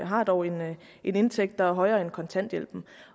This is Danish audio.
har dog en indtægt der er højere end kontanthjælpen